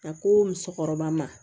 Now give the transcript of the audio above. A ko musokɔrɔba ma